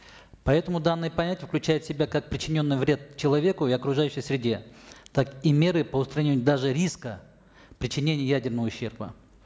поэтому данные понятия включают в себя как причиненный вред человеку и окружающей среде так и меры по устранению даже риска причинения ядерного ущерба